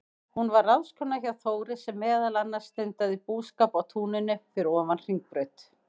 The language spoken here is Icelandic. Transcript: Hún var ráðskona hjá Þóri, sem meðal annars stundaði búskap á túninu fyrir ofan Hringbraut.